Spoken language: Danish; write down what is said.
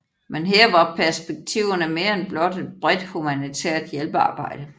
Men her var perspektiverne mere end blot et bredt humanitært hjælpearbejde